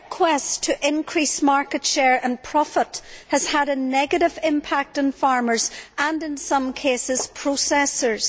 Their quest to increase market share and profits has had a negative impact on farmers and, in some cases, processors.